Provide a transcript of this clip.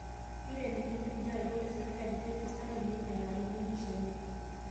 Keitenikini lkulie arikok le serkali ajo kifisadi, neing'elakini empisha enye